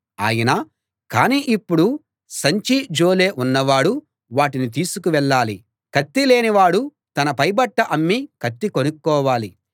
ఆయన కానీ ఇప్పుడు సంచీ జోలే ఉన్నవాడు వాటిని తీసుకువెళ్ళాలి కత్తి లేని వాడు తన పైబట్ట అమ్మి కత్తి కొనుక్కోవాలి